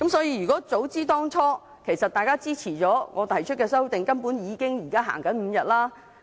如果大家當初支持我提出的修訂，現在根本已經實行5天侍產假了。